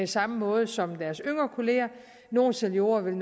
samme måde som deres yngre kollegaer nogle seniorer vil